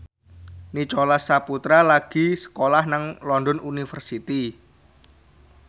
Nicholas Saputra lagi sekolah nang London University